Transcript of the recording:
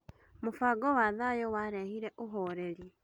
Mũbango wa thayũ warehire ũhoreri.